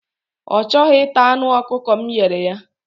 Ọ chọghị ịta anụ ọkụkọ m nyere ya.